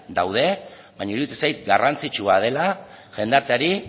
daude baina iruditzen zait garrantzitsua dela jendarteari